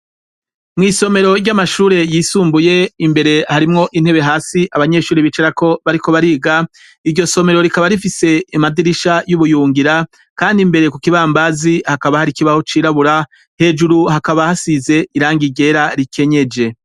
mwisomero ry'amashure yisumbuye imbere harimwo intebe hasi abanyeshuri bicarako bariko bariga iryo somero rikaba rifise amadirisha y'ubuyungira kandi imbere ku kibambazi hakaba hari ikibaho c'irabura hejuru hakaba hasize irangi ryera rikenyeje